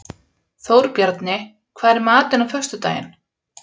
Þórbjarni, hvað er í matinn á föstudaginn?